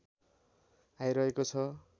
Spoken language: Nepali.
आइरहेको छ